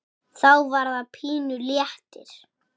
Þá var það pínu léttir.